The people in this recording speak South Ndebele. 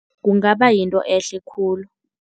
Kungaba yinto ehle khulu.